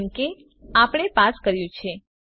જેમ કે આપણે પાસ કર્યું છે